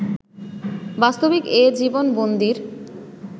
বাস্তবিক এ জীবন বন্দীর